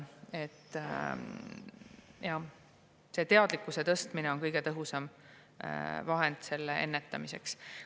Jah, teadlikkuse tõstmine on kõige tõhusam vahend ennetamiseks.